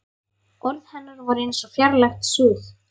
Orð hennar voru eins og fjarlægt suð.